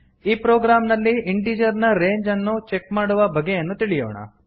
ಈ ಪ್ರೊಗ್ರಾಮ್ ನಲ್ಲಿ ಇಂಟಿಜರ್ ನ ರೇಂಜ್ ಅನ್ನು ಚೆಕ್ ಮಾಡುವ ಬಗೆಯನ್ನು ತಿಳಿಯೋಣ